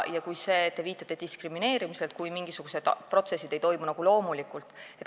Te viitasite diskrimineerimisele, kui mingid protsessid ei toimu nagu loomulikult.